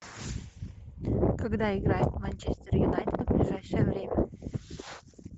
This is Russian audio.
когда играет манчестер юнайтед в ближайшее время